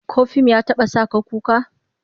Ko fim ya taba sa ka kuka?